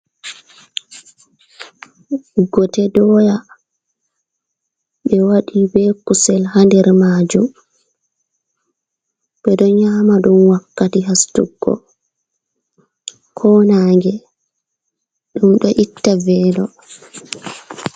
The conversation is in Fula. Gote doya ɓe waɗi be kusel ha nder majum. Ɓeɗo nyama ɗum wakkati hasutuggo ko nange ɗum ɗo itta velo.